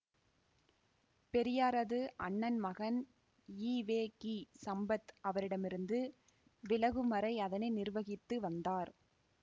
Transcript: பெரியாரது அண்ணன் மகன் ஈ வெ கி சம்பத் அவரிடமிருந்து விலகும்வரை அதனை நிர்வகித்து வந்தார்